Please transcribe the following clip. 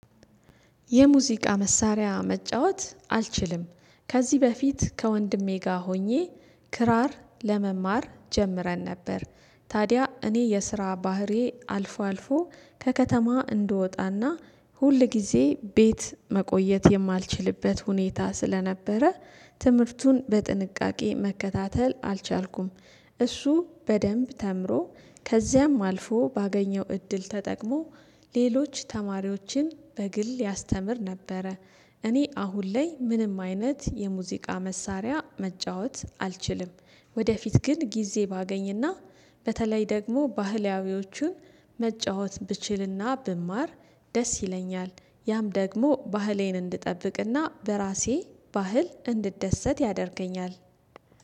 የሙዚቃ መሳሪያ መጫወት አልችልም ከዚህ በፊት ከወንድሜ ጋር ሆኜ ክራር ለመማር ጀምረን ነበር። ታዲያ እኔ የስራ ባህሪዬ አልፎ አልፎ ከከተማ እንድወጣ እና ሁል ጊዜ ቤት መቆየት የማልችልበት ሁኔታ ስለነበረ ትምህርቱን በጥንቃቄ መከታተል አልቻልኩም። እሱ በደምብ ተምሮ ከዚያም አልፎ ባገኘው እድል ተጠቅሞ ሌሎች ተማሪዎችን በግል ያስተምር ነበረ። እኔ አሁን ላይ ምንም አይነት የሙዚቃ መሳሪያ መጫወት አልችልም። ወደፊት ግን ጊዜ ባገኝ እና በተለይ ደግሞ ባህላዊዎቹን መጫወት ብችል እና ብማር ደስ ይለኛል። ያም ደግሞ ባህሌን እንድጠብቅ እና በራሴ ባህል እንድደሰት ያደርገኛል።